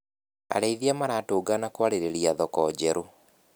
Arĩithia maratũngana kwarĩrĩria thoko njerũ.